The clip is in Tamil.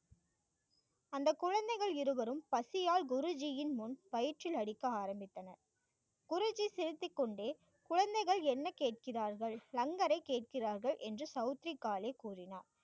அந்த குழந்தைகள் இருவரும் பசியால் குருஜியின் முன் வயிற்றில் அடிக்க ஆரம்பித்தனர். குறிஞ்சி செலுத்திக் கொண்டே குழந்தைகள் என்ன கேட்கிறார்கள்? லங்கரை கேட்கிறார்கள் என்று சௌத்திரி காளி கூறினார்.